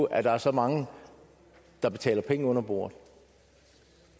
at der er så mange der betaler penge under bordet